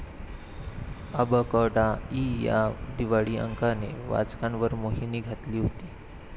अबकडा' इ या दिवाळी अंकाने वाचकांवर मोहिनी घातली होती.